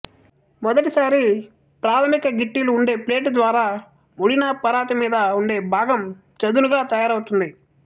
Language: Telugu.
మొదటిసారి ప్రాథమిక గిట్టిలు ఉండే ప్లేటు ద్వారా ముడినాపరాతిమీద ఉండే భాగం చదునుగా తయారవుతుంది